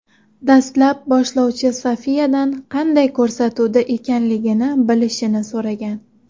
Dastlab boshlovchi Sofiyadan qanday ko‘rsatuvda ekanligini bilishini so‘ragan.